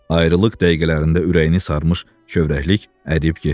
Ayrılıq dəqiqələrində ürəyini sarmış kövrəklik əriyib getdi.